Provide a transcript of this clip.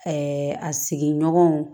a sigiɲɔgɔnw